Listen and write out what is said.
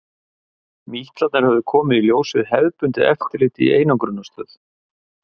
Mítlarnir höfðu komið í ljós við hefðbundið eftirlit í einangrunarstöð.